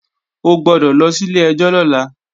O gbọ́dọ̀ lọ sí ilé-ẹjọ́ lọ́la!